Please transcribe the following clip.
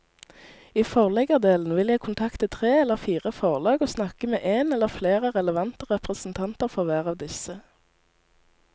I forleggerdelen vil jeg kontakte tre eller fire forlag og snakke med en eller flere relevante representanter for hver av disse.